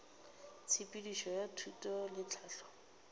tshepedišo ya thuto le tlhahlo